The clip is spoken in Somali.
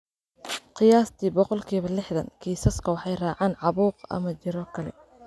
Qiyaastii boqolkiba lixdan kiisaska waxay raacaan caabuq ama jirro kale.